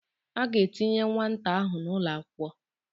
A ga-etinye nwata ahụ n'ụlọakwụkwọ